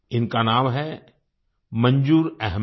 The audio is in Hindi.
इनका नाम है मंजूर अहमद